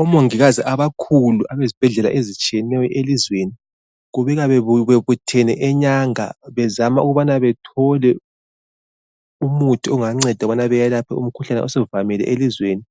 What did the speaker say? Omongikazi abakhulu abezibhedlela ezitshiyeneyo elizweni kubikwa bebuthene eNyanga bezama ukubana bethole umuthi onganceda ukubana bayelaphe umkhuhlane osuvamile elizweni,